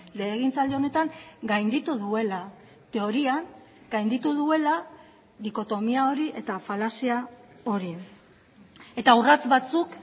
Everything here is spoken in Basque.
legegintzaldi honetan gainditu duela teorian gainditu duela dikotomia hori eta falazia hori eta urrats batzuk